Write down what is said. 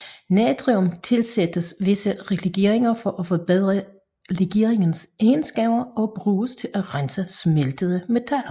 Natrium tilsættes visse legeringer for at forbedre legeringens egenskaber og bruges til at rense smeltede metaller